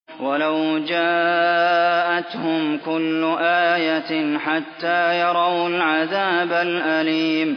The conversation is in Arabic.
وَلَوْ جَاءَتْهُمْ كُلُّ آيَةٍ حَتَّىٰ يَرَوُا الْعَذَابَ الْأَلِيمَ